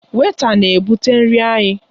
Wèịta na-ebụte nri anyị.